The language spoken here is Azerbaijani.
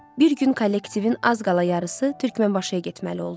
Bir gün kollektivin az qala yarısı Türkmənbaşıya getməli oldu.